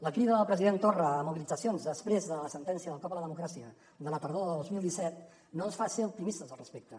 la crida del president torra a mobilitzacions després de la sentència del cop a la democràcia de la tardor de dos mil disset no ens fa ser optimistes al respecte